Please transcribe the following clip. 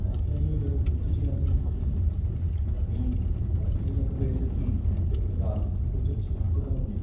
"ఆన్లైన్లో నేను పూర్తి చెయ్యాల్సిన పనుంది, కానీ వై ఫై లేకపోయేసరికి బెంగగా, కొంచెం చిరాకుగా ఉంది."